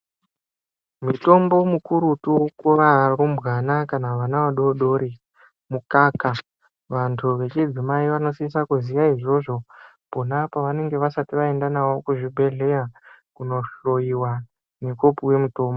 Mutombo mukurutu kuva rumbwana kana vana vadodori ,mukaka vantu vechidzi mai vanosisa kuziva izvozvo iponapo pavanenge vasati vaenda navo kuzvigwehleya kuno hlowiwa nekupiwa mutombo.